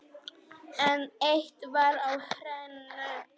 En eitt var á hreinu.